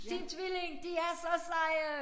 Team Tvilling de er så seje